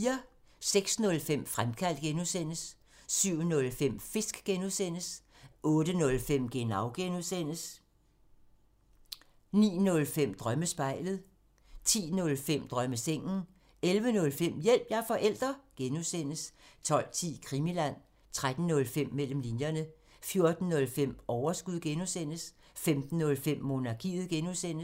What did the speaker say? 06:05: Fremkaldt (G) 07:05: Fisk (G) 08:05: Genau (G) 09:05: Drømmespejlet 10:05: Drømmesengen 11:05: Hjælp – jeg er forælder! (G) 12:10: Krimiland 13:05: Mellem linjerne 14:05: Overskud (G) 15:05: Monarkiet (G)